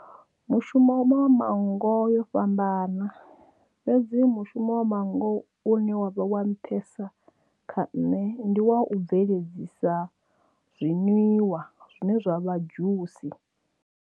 Mushumo wa manngo yo fhambana fhedzi mushumo wa manngo une wavha wa nṱhesa kha nṋe ndi wa u bveledzisa zwinwiwa zwine zwa vha dzhusi.